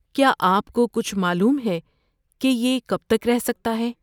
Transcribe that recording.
کیا آپ کو کچھ معلوم ہے کہ یہ کب تک رہ سکتا ہے؟